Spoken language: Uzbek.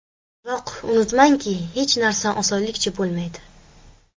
Biroq unutmangki, hech narsa osonlikcha bo‘lmaydi.